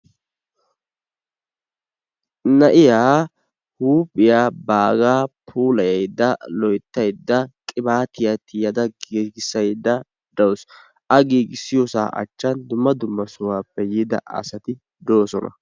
Na'iyaa huuphphiyaa bagaa puulayaydda loyttaydaa qibaatiyaa tiyaada giigisayida dawus. a giigisiyoosaa achchan dumma dumma sohuwaappe yiida asati doosona.